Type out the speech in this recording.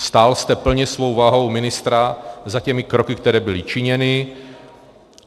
Stál jste plně svou vahou ministra za těmi kroky, které byly činěny.